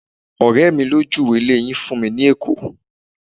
ọrẹ mi lo juwe ile yìí fún mi ni ẹkọ